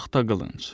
Taxta qılınc.